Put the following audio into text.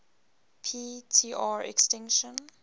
p tr extinction